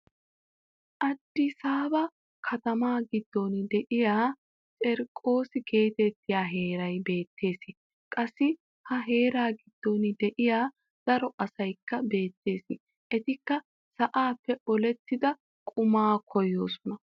Addisaaba katamaa giddon de'ya cerqos geetettiya heeray beettees. Qassi ha heeraa giddon de'iya daro asaykka beettees. Etikka sa'aappe olettida qumaa koyoosona.